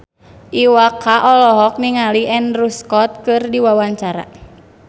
Iwa K olohok ningali Andrew Scott keur diwawancara